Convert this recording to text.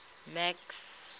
max